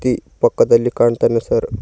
ಈ ಪಕ್ಕದಲ್ಲಿ ಕಾಣ್ತಾನೆ ಸರ್ .